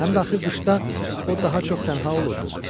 Həm də axı qışda o daha çox tənha olurdu.